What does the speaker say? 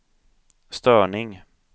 störning